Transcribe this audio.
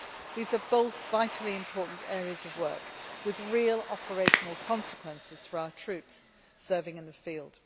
These are both vitally important areas of work with real operational consequences for our troops serving in the field.